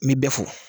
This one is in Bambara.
N bi bɛɛ fɔ